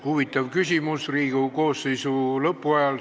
Huvitav küsimus Riigikogu koosseisu lõpu eel.